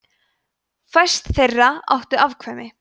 fæstir þeirra áttu afturkvæmt